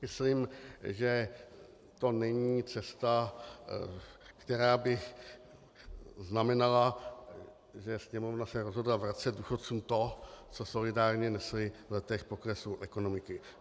Myslím, že to není cesta, která by znamenala, že Sněmovna se rozhodla vracet důchodcům to, co solidárně nesli v letech poklesu ekonomiky.